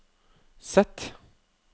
Z